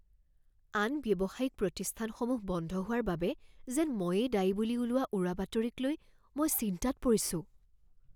আন ব্যৱসায়িক প্ৰতিষ্ঠানসমূহ বন্ধ হোৱাৰ বাবে যেন ময়েই দায়ী বুলি ওলোৱা উৰাবাতৰিক লৈ মই চিন্তাত পৰিছোঁ।